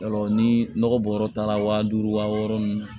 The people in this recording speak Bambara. Yarɔ ni nɔgɔ bɔyɔrɔ taara wa duuru wa wɔɔrɔ nunnu